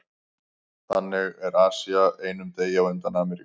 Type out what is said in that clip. Þannig er Asía einum degi á undan Ameríku.